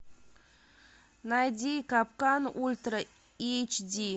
найди капкан ультра эйч ди